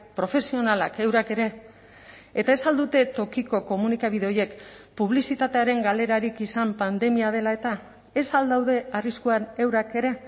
profesionalak eurak ere eta ez al dute tokiko komunikabide horiek publizitatearen galerarik izan pandemia dela eta ez al daude arriskuan eurak ere